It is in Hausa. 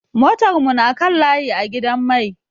Motar mu na kan layi a gidan mai.